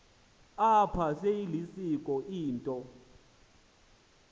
apha seyilisiko into